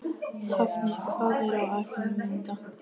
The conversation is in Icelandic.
Hafni, hvað er á áætluninni minni í dag?